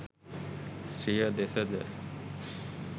ස්ත්‍රිය දෙස ද